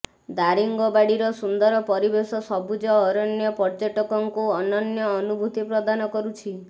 ଦାରିଙ୍ଗବାଡ଼ିର ସୁନ୍ଦର ପରିବେଶ ସବୁଜ ଅରଣ୍ୟ ପର୍ଯ୍ୟଟକଙ୍କୁ ଅନନ୍ୟ ଅନୁଭୂତି ପ୍ରଦାନ କରୁଛି